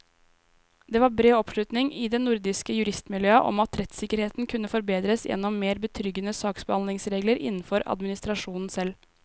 Det var bred oppslutning i det nordiske juristmiljøet om at rettssikkerheten kunne forbedres gjennom mer betryggende saksbehandlingsregler innenfor administrasjonen selv.